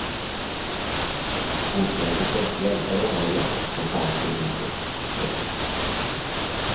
Hon tvingades i stället hjälpa rånarna i jakten på kontanter i huset. punkt